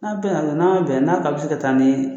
N'a bɛnna dɔrɔn, n'a bɛn n'a k'a bɛ se ka taa ne ye